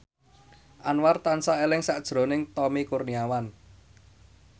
Anwar tansah eling sakjroning Tommy Kurniawan